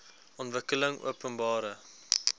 ontwikkelingopenbare